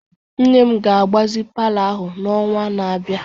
Nne m ga-agbazi palọ ahụ n'ọnwa na-abịa.